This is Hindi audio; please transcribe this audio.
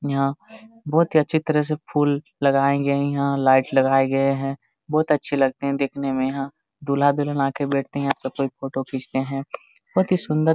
यहाँ बहुत ही अच्छी तरह से फूल लगाए गए हैं यहाँ लाइट लगाए गए हैं बहुत अच्छे लगते हैं देखने में यहाँ दूल्हा दुल्हन आके बैठते है यहाँ सब कोई आके फोटो खींचते है बहुत ही सुन्दर--